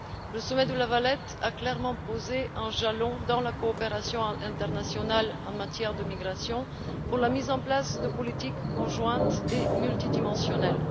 Le sommet de La Valette a clairement posé un jalon dans la coopération internationale en matière de migration, pour la mise en place de politiques conjointes et multidimensionnelles.